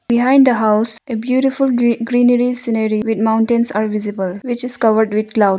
Behind the house a beautiful gree greenary scenary with mountains are visible which is covered with clouds.